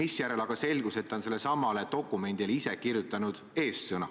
Seejärel aga selgus, et ta on sellelesamale dokumendile ise eessõna kirjutanud.